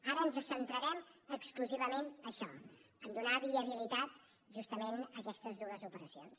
ara ens centrarem exclusivament en això a donar viabilitat justament a aquestes dues operacions